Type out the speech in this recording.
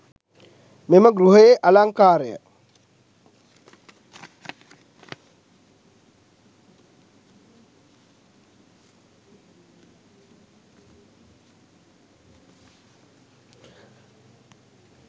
මෙම ගෘහයේ අලංකාරය